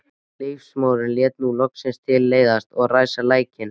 Ljósmóðirin lét nú loks til leiðast að ræsa lækninn.